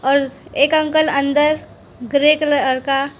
एक अंकल अंदर grey colour का।